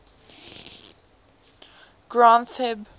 granth hib